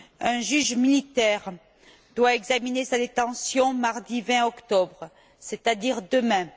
Un juge militaire doit examiner sa détention mardi 20 octobre, c'est à dire demain.